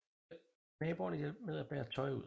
Naboerne hjalp med bære tøj ud